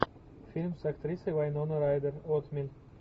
фильм с актрисой вайнона райдер отмель